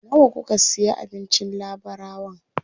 Nawa kuka siya abincin labarawan?